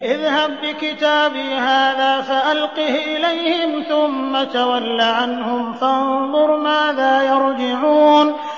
اذْهَب بِّكِتَابِي هَٰذَا فَأَلْقِهْ إِلَيْهِمْ ثُمَّ تَوَلَّ عَنْهُمْ فَانظُرْ مَاذَا يَرْجِعُونَ